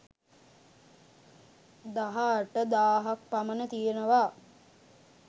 දහ අටදාහක් පමණ තියෙනවා.